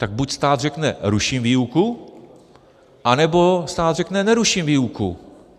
Tak buď stát řekne "ruším výuku", anebo stát řekne "neruším výuku".